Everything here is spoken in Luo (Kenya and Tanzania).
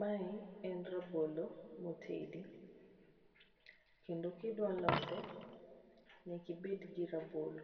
Mae en rabolo motedi, kendo ka idwa lose nyaka ibed gi rabolo.